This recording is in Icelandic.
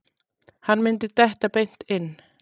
Hann myndi detta beint inn.